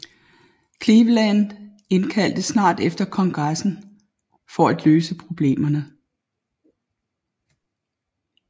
Cleveland indkaldte snart efter Kongressen for at løse problemerne